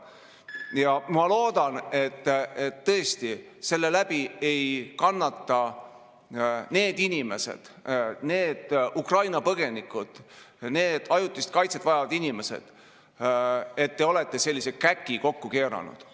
Ja ma loodan, et tõesti selle läbi ei kannata need inimesed, need Ukraina põgenikud, need ajutist kaitset vajavad inimesed, et te olete sellise käki kokku keeranud.